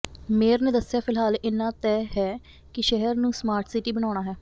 mayor ਨੇ ਦੱਸਿਆ ਫਿਲਹਾਲ ਇੰਨਾ ਤੈਅ ਹੈ ਕਿ ਸ਼ਹਿਰ ਨੂੰ ਸਮਾਰਟ ਸਿਟੀ ਬਣਾਉਣਾ ਹੈ